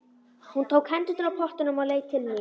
Hún tók hendurnar af pottunum og leit til mín.